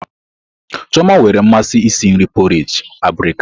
Chioma nwere mmasị isi nri porrage abirika.